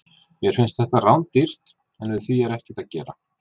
Mér finnst þetta rándýrt, en við því er ekkert að gera.